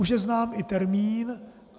Už je znám i termín.